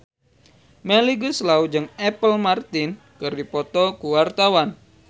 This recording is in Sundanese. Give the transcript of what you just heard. Melly Goeslaw jeung Apple Martin keur dipoto ku wartawan